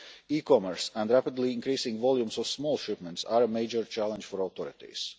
E-commerce and rapidly increasing volumes of small shipments are a major challenge for authorities.